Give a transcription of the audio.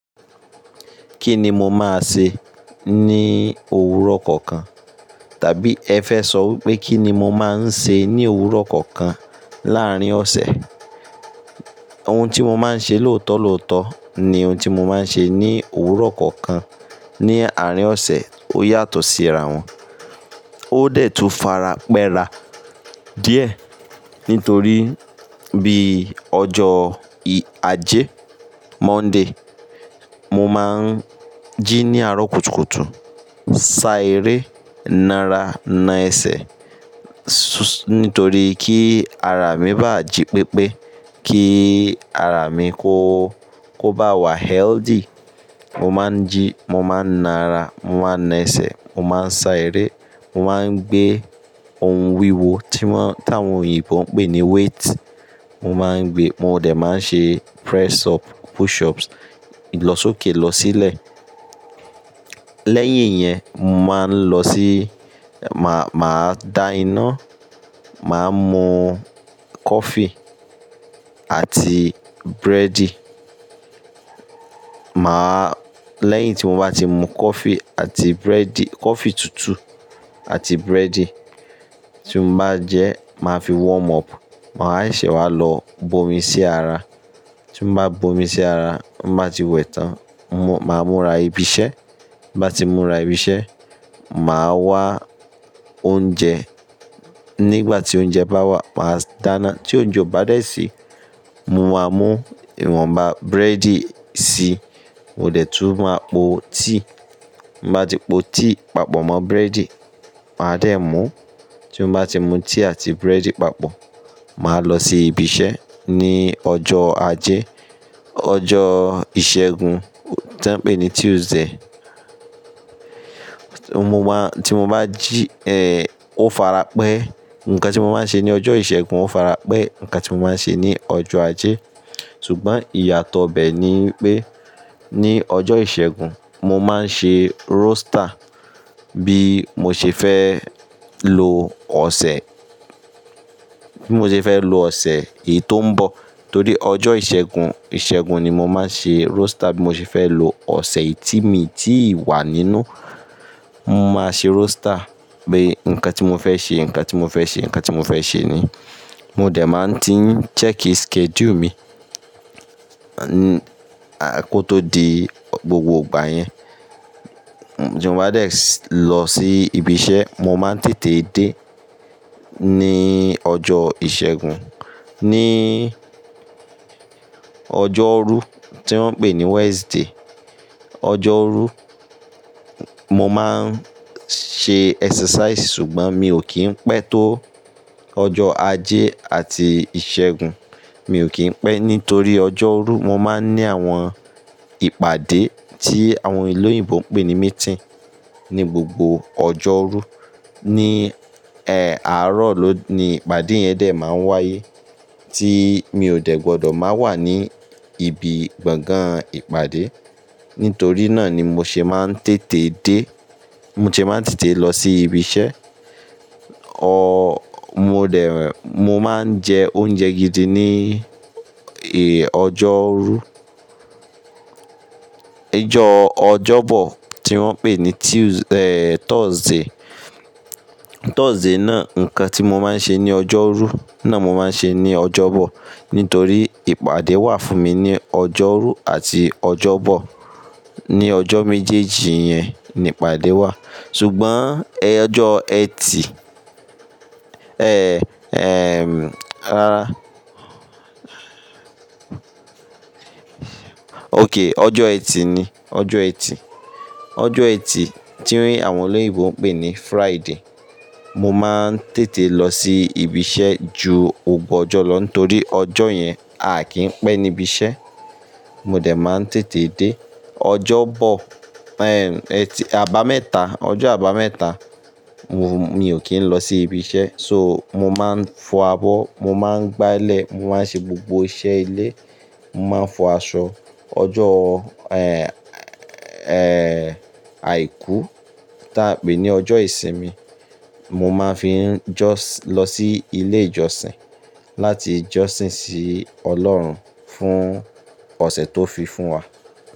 Kí nì mó máa ṣé ní òwúrọ̀ kọ́kán? Tàbí ẹ fẹ sọ̀ wípé kí ni mo máa ń ṣe ní òwúrọ̀ kọ́kàn láàárín ọ̀sẹ̀? Óhun tí mo máa ń ṣe lóòótọ́ lóòótọ́ ni ohun tí mo máa ń ṣe ní òwúrọ̀ kọ́kàn ní àárín ọ̀sẹ̀. Ó yàtọ̀ sí àrá wọn. Ó dẹ̀ tu fara pẹ́ra díẹ̀ nítorí bí ọjọ́ ì- ajé, Monday, mo máa ń jí ní àárọ̀ kùtùkùtù, sá eré, nàrá, na ẹsẹ̀, su-- nítorí kí ara mi bá jí pépé, kí ara mi kó, kó bá wà healthy, mo máa ń jí, mo máa ń nara, mo máa ń na ẹsẹ̀, mo máa ń sá eré, mo máa ń gbé ohun wíwo tí wọ́n-- tí àwọn òyìnbó ń pè ní weight. Mo máa ń gbé, mo dẹ̀ máa ń ṣe press up, push ups, lọ sókè lọ sílẹ̀. Lẹ́yìn yẹn, mo máa ń lọ sí, màá-màá da iná, màá mú coffee àti búrẹ́dì. Màá-- lẹ́yìn tí mo bá ti mu coffee àti búrẹ́dì, coffee tutù àti búrẹ́dì, tí mo bá jẹ, màá fi warm up. Màá ṣẹ́ wá lọ bo omi sí ara. Tí mo bá bo omi sí ara, mo máa ti wẹ̀ tán. Mo máa múra ibi iṣẹ́. Bí mo bá ti múra ibi iṣẹ́, màá wá oúnjẹ. Nígbà tí oúnjẹ bá wá, màá dáná. Tí oúnjẹ bá dẹ̀ sí, mo máa mú ìwọ̀nba búrẹ́dì si. Mo dẹ̀ tú máa po tíì. Mo bá ti po tíì papọ̀ mọ́ búrẹ́dì, màá dẹ̀ mú. Tí mo bá ti mu tíì àti búrẹ́dì papọ̀, màá lọ sí ibi iṣẹ́. Ní ọjọ́ ajé, ọjọ́ ìṣẹ́gun tí wọ́n ń pè ní Tuesday, mo máa-- tí mo bá jí, eh, ó fara pẹ́. Ǹkan tí mo máa ń ṣe ní ọjọ́ ìṣẹ́gun ó fara pẹ́ ǹkan tí mo máa ń ṣe ní ọjọ́ ajé. Ṣùgbọ́n ìyàtọ̀ bẹ́ẹ̀ ni pé ní ọjọ́ ìṣẹ́gun, mo máa ń ṣe roster bí mo ṣe fẹ́ lo ọ̀sẹ̀, bí mo ṣe fẹ́ lo ọ̀sẹ̀ ètó ń bọ̀. Torí ọjọ́ ìṣẹ́gun, ìṣẹ́gun ni mo máa ń ṣe roster bí mo ṣe fẹ́ lo ọ̀sẹ̀ yìí tí mi tí wà nínú. Mo máa ṣe roster pé ǹkan tí mo fẹ́ ṣe, ǹkan tí mo fẹ́ ṣe, ǹkan tí mo fẹ́ ṣe ni. Mo dẹ̀ máa ń ti ń cẹ́kìì schedule mi, à-- kó tó di gbogbo ìgbà yẹn. Tí mo bá dẹ̀ lọ sí ibi iṣẹ́, mo máa ń tètè dé ní ọjọ́ ìṣẹ́gun. Ní ọjọ́rú tí wọ́n ń pè ní Wednesday, ọjọ́rú, mo máa ń ṣe exercise ṣùgbọ́n mi ò kí ń pẹ́ tó ọjọ́ ajé àti ìṣẹ́gun. Mi ò kí ń pẹ́ nítorí ọjọ́rú mo máa ń ní àwọn ìpàdé tí àwọn ẹlẹ́yìnbo ń pè ní meeting ní gbogbo ọjọ́rú. Ní, ẹ́, àárọ̀ ló ni ìpàdé yẹn dẹ̀ máa ń wáyé tí mi ò dẹ̀ gbọdọ̀ máa wà ní ibi gbọ̀ngàn ìpàdé. Nítorí náà ni mo ṣe máa ń tètè dé, mo ṣe máa ń tètè lọ sí ibi iṣẹ́. O-- mo dẹ̀, mo máa ń jẹ oúnjẹ gidi ní, ẹ́, ọjọ́rú. Ọjọ́ Ọjọ́bọ̀ tí wọ́n ń pè ní Tues-- ẹ́, Thursday. Thursday náà, ǹkan tí mo máa ń ṣe ní ọjọ́rú náà mo máa ń ṣe ní Ọjọ́bọ̀. Nítorí ìpàdé wà fún mi ní ọjọ́rú àti Ọjọ́bọ̀. Ní ọjọ́ méjèèjì yẹn ni ìpàdé wà. Ṣùgbọ́n ẹjọ́ ẹtì, ẹ́, ẹm, rara. Ok, ọjọ́ ẹtì ni, ọjọ́ ẹtì. Ọjọ́ ẹtì tí àwọn ẹlẹ́yìnbo ń pè ní Friday, mo máa ń tètè lọ sí ibi iṣẹ́ ju gbogbo ọjọ́ lọ nítorí ọjọ́ yẹn a kì í pẹ́ níbi iṣẹ́. Mo dẹ̀ máa ń tètè dé. Ọjọ́bọ̀, ẹm, ẹtì, àbámẹ́ta, ọjọ́ àbámẹ́ta, mo, mi ò kí ń lọ sí ibi iṣẹ́. So, mo máa ń fọ abọ́, mo máa ń gbá ilẹ̀, mo máa ń ṣe gbogbo iṣẹ́ ilé, mo máa ń fọ aṣọ. Ọjọ́, ẹ́, ẹ́, àìkú tí a pè ní ọjọ́ ìsinmi, mo máa fi ń jọ̀sìn, lọ sí ilé ìjọsìn láti jọ̀sìn sí Ọlọ́run fún ọ̀sẹ̀ tó fi fún wa.